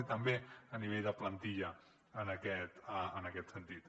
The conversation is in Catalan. i també a nivell de plantilla en aquest sentit